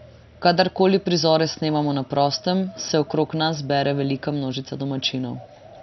Kadarkoli prizore snemamo na prostem, se okrog nas zbere velika množica domačinov.